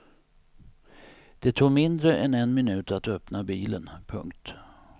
Det tog mindre än en minut att öppna bilen. punkt